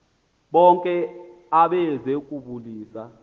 bonke abeze kubulisa